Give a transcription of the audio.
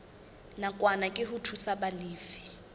nakwana ke ho thusa balefi